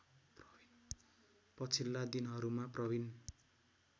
पछिल्ला दिनहरूमा प्रविन